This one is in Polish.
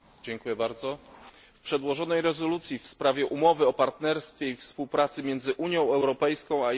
W przedłożonej rezolucji w sprawie Umowy o partnerstwie i współpracy między Unią Europejską i Irakiem w punkcie